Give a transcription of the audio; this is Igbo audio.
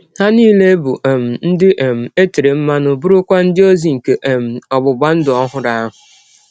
Ha nile bụ um ndị um e tere mmanụ, bụrụkwa ndị ọzi nke um ọgbụgba ndụ ọhụrụ ahụ.